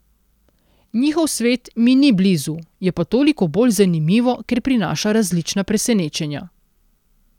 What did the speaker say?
Njihov svet mi ni blizu, je pa toliko bolj zanimivo, ker prinaša različna presenečenja.